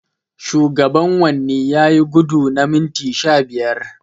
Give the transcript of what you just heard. Shugaban wanni yayi gudu na minti sha biyar.